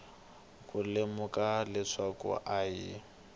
ku lemuka leswaku a hi